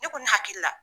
Ne ko ne hakili la